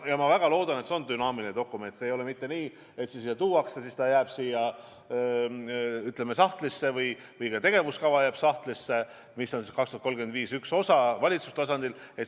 Ja ma väga loodan, et see on dünaamiline dokument, et ei ole mitte nii, et see tuuakse siia ja see jääb kuhugi sahtlisse või jääb sahtlisse tegevuskava, mis on "Eesti 2035" üks osa valitsuse tasandil.